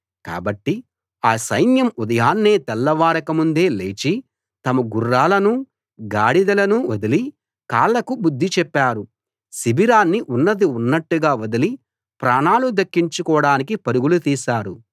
కాబట్టి ఆ సైన్యం ఉదయాన్నే తెల్లవారక ముందే లేచి తమ గుడారాలనూ గుర్రాలనూ గాడిదలనూ వదిలి కాళ్ళకు బుద్ధి చెప్పారు శిబిరాన్ని ఉన్నది ఉన్నట్టుగా వదిలి ప్రాణాలు దక్కించుకోడానికి పరుగులు తీశారు